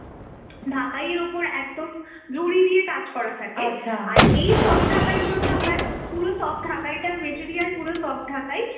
ঢাকাইয়ের ওপর একদম লুরি দিয়ে কাজ করা থাকে, আর এই soft ঢাকাই গুলোতে হয় পুরো soft ঢাকাইটার material পুরো soft ঢাকাই